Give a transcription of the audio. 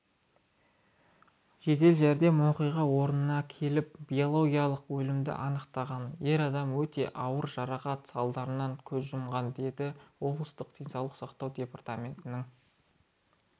жедел жәрдем оқиға орынына келіп биологиялық өлімді анықтаған ер адам өте ауыр жарақат салдарынан көз жұмған деді облыстық денсаулық сақтау департаментінің